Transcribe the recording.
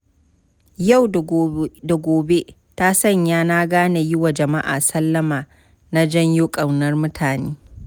Yau-da-gobe ta sanya na gane yiwa jama'a sallama na janyo ƙaunar mutane.